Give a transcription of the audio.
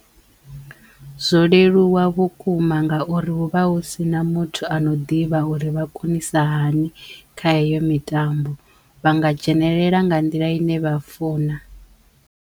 Zwo leluwa vhukuma ngauri huvha hu sina muthu ano ḓivha uri vha konisa hani kha heyo mitambo vha nga dzhenelela nga nḓila i ne vha funa.